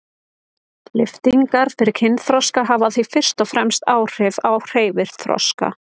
Lyftingar fyrir kynþroska hafa því fyrst og fremst áhrif á hreyfiþroska.